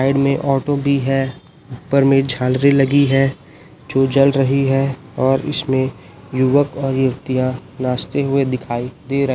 side में एक auto भी है ऊपर में झालरे लगी है जो जल रही है और इसमें युवक और युवतियां नाचते हुए दिखाई दे --